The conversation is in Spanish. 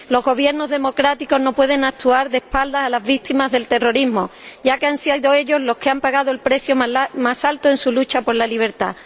Los gobiernos democráticos no pueden actuar de espaldas a las víctimas del terrorismo, ya que han sido ellas las que han pagado el precio más alto en su lucha por la libertad.